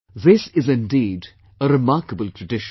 This is indeed a remarkable tradition